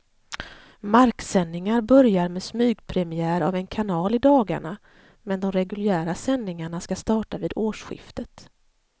Marksändningar börjar med smygpremiär av en kanal i dagarna, men de reguljära sändningarna ska starta vid årsskiftet.